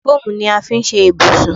Fóòmù ni a fi ṣe ibùsùn.